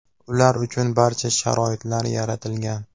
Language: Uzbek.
Ular uchun barcha sharoitlar yaratilgan.